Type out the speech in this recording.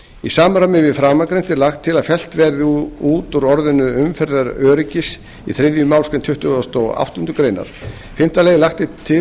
í samræmi við framangreint er lagt til að fellt verði út orðið umferðaröryggis í þriðju málsgrein tuttugustu og áttundu greinar fimmta lagt er til